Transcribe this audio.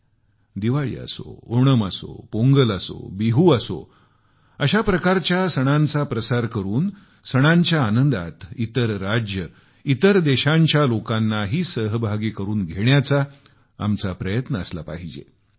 होळी असो दिवाळी असो ओणम असो पोंगल असो बिहू असो अशा प्रकारच्या सणांचा प्रसार करून सणांच्या आनंदात इतर राज्यं इतर देशांच्या लोकांनाही सहभागी करून घेण्याचा आमचा प्रयत्न असला पाहिजे